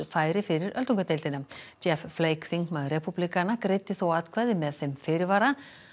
færi fyrir öldungadeildina jeff Flake þingmaður repúblikana greiddi þó atkvæði með þeim fyrirvara